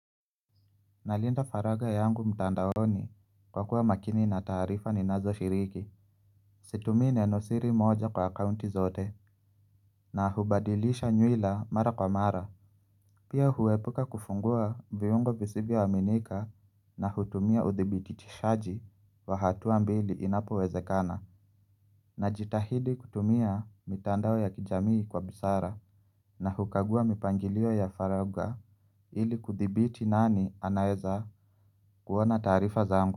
Nalinda faragha yangu mtandaoni kwa kuwa makini na taarifa ninazoshiriki Situmii nenosiri moja kwa akaunti zote na hubadilisha nywila mara kwa mara Pia huepuka kufungua viungo visivyo aminika na hutumia uthibitishaji wa hatua mbili inapowezekana Najitahidi kutumia mitandao ya kijamii kwa busara na hukagua mipangilio ya faragha ili kuthibiti nani anaeza kuona taarifa zangu.